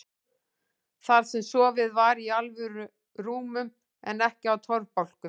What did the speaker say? Þar sem sofið var í alvöru rúmum en ekki á torfbálkum.